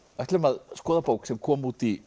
ætlum að skoða bók sem kom út í